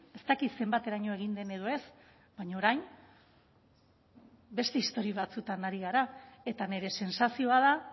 ez dakit zenbateraino egin den edo ez baina orain beste istorio batzuetan ari gara eta nire sentsazioa da